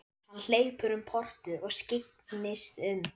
Hann hleypur um portið og skyggnist um.